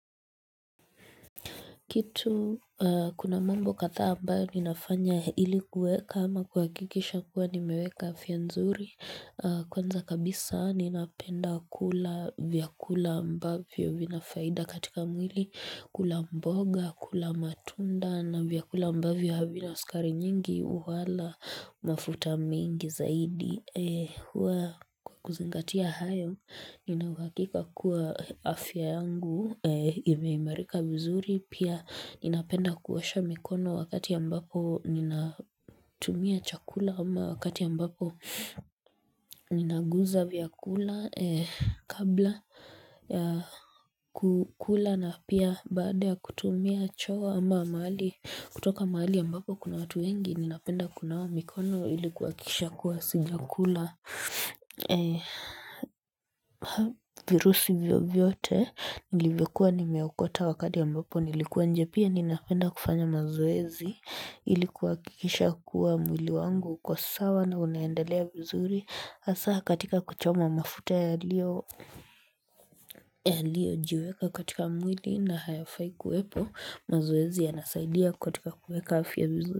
Kitu kuna mambo katha ambayo ninafanya ilikuweka ama kuhakikisha kuwa nimeweka afya nzuri kwanza kabisa ninapenda kula vyakula ambavyo vinafaida katika mwili kula mboga kula matunda na vyakula ambavyo havina skari nyingi wala mafuta mingi zaidi. Kwa kuzingatia hayo, ninauhakika kuwa afya yangu, imeimarika vizuri, pia ninapenda kuosha mikono wakati ambapo ninatumia chakula ama wakati ambapo ninaguza vya kula kabla ya kukula na pia baada ya kutumia choo ama mahali, kutoka mahali ambapo kuna watu wengi, ninapenda kunawa mikono ilikuakikisha kuwa sijakula. E. Ha virusi vyovyote nilivyokuwa nimeokota wakati ambapo nilikuwa inje pia ninapenda kufanya mazoezi ili kuakikisha kuwa mwili wangu uko sawa na unaendelea vizuri hasa katika kuchoma mafuta yalio. Yalio jiweka katika mwili na hayafai kuwepo mazoezi ya nasaidia katika kuweka afya mzu.